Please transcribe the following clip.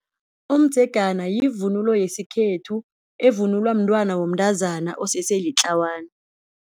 Umdzegana yivunulo yesikhethu evunulwa mntwana womntazana osese litlawana.